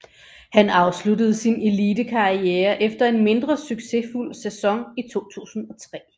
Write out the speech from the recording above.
Han afsluttede sin elitekarriere efter en mindre succesfuld sæson i 2003